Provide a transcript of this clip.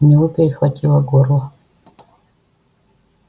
у него перехватило горло